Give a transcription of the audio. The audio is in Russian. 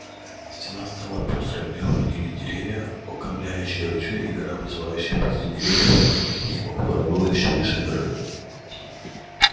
стена стала пёстрой в неё входили деревья окаймляющие ручей и гора возвышающаяся позади деревьев и небо которое было ещё выше горы